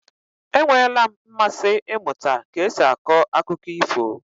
E nweela m mmasị ịmụta ka esi akọ akụkọ ifo.